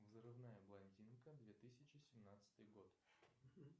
взрывная блондинка две тысячи семнадцатый год